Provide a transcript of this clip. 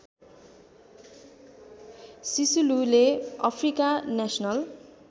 सिसुलुले Africa national